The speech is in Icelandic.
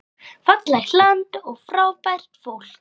Fallegt land og frábært fólk.